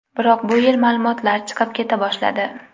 Biroq bu yil ma’lumotlar chiqib keta boshladi.